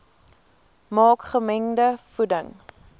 maak gemengde voeding